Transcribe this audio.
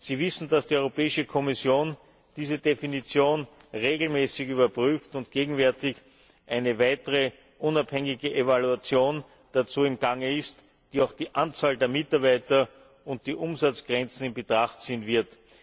Sie wissen, dass die Europäische Kommission diese Definition regelmäßig überprüft und gegenwärtig eine weitere unabhängige Evaluation dazu im Gange ist, die auch die Anzahl der Mitarbeiter und die Umsatzgrenzen in Betracht ziehen wird.